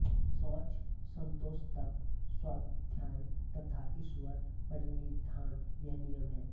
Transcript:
शौच संतोष तप स्वाध्याय तथा ईश्वर प्रणिधान यह नियम हैं